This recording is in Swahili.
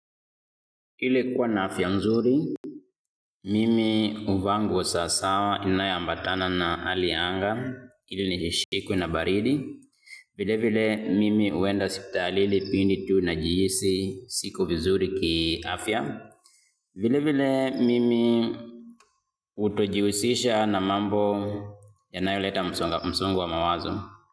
Ili kuwa na afya mzuri, mimi huvaa nguo sasawa inayoambatana na hali ya anga, ili nisishikwe na baridi. Vile vile mimi huenda hospitali ile pindi tu najihisi siko vizuri kiafya. Vile vile mimi hutojihusisha na mambo yanayoleta msongo wa mawazo.